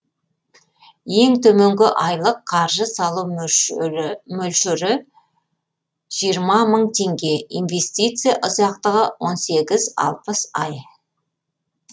ең төменгі айлық қаржы салу мөлшері жиырма мың теңге инвестиция ұзақтығы он сегіз алпыс ай